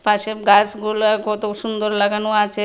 পাশে গাসগুলা কত সুন্দর লাগানো আছে।